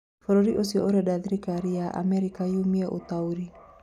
Bũrũri ũcio ũrenda thirikari ya America yumiĩ ũtaũri